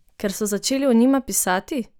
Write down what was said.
Ker so začeli o njima pisati?